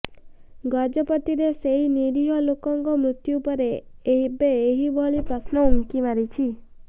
ଗଜପତିର ସେହି ନିରିହ ଲୋକଙ୍କ ମୃତ୍ୟୁପରେ ଏବେ ଏଭଳି ପ୍ରଶ୍ନ ଉଙ୍କି ମାରିଛି